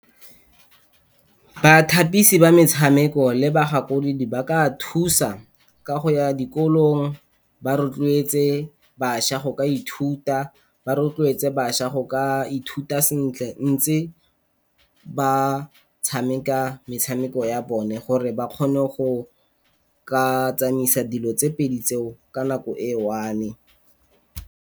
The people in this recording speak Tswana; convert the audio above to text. Bathapisi ba metshameko le ba gakolodi ba ka thusa, ka go ya dikolong ba rotloetse batšha go ka ithuta. Ba rotloetse batšha ga ka ithuta sentle ntse ba tshameka metshameko ya bone, gore ba kgone go ka tsamaisa dilo tse pedi tseo ka nako e one.